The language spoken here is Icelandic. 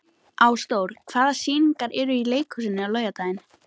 Ásdór, hvaða sýningar eru í leikhúsinu á laugardaginn?